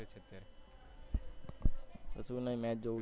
કશું નઈ match જોવું છું.